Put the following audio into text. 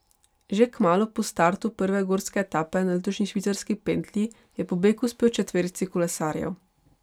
Že kmalu po startu prve gorske etape na letošnji švicarski pentlji je pobeg uspel četverici kolesarjev.